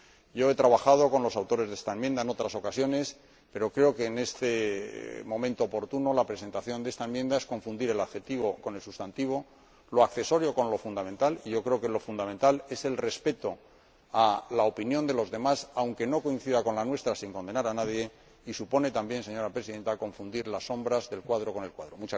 Yo he trabajado con los autores de esta enmienda en otras ocasiones, pero creo que, en este momento preciso, la presentación de esta enmienda es confundir el adjetivo con el sustantivo, lo accesorio con lo fundamental, y yo creo que lo fundamental es el respeto de la opinión de los demás, aunque no coincida con la nuestra, sin condenar a nadie, y supone también, señora Presidenta, confundir las sombras del cuadro con el cuadro.